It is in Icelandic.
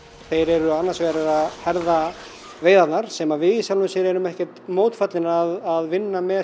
þeir eru annars vegar að herða veiðarnar sem við erum ekkert mótfallnir að vinna með